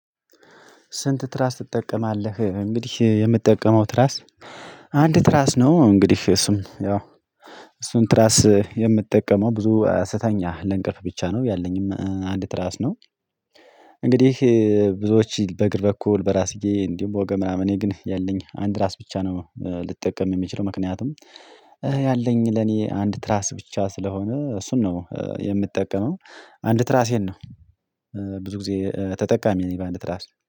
ስንት ትራስ ትጠቀማለህ? እንግዲህ የምጠቀመው ትራስ አንድ ትራስ ነው። እንግዲህ እሱም ያው እሱን ትራስ የምጠቀመው ብዙ ስተኛ ለእንቅልፍ ብቻ ነው። ያለኝም አንድ ትራስ ነው። እንግዲህ ብዙዎች በእግር በኩል በራስዬ እንዲሁ በወገብ ምናምን እኔ ግን ያለኝ አንድ ትራስ ብቻ ነው ልጠቀም የምችለው። ምክንያቱም ያለኝ ለኔ አንድ ትራስ ብቻ ስለሆነ እሱን ነው የምትጠቀመው አንድ ትራሴን ነው። ብዙ ጊዜ ተጠቃሚ ነኝ በአንድ ትራስ